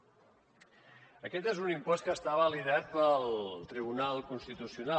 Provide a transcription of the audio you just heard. aquest és un impost que està validat pel tribunal constitucional